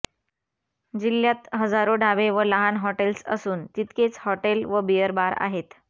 जिल्ह्यात हजारो ढाबे व लहान हॉटेल्स असून तितकेच हॉटेल व बिअर बार आहेत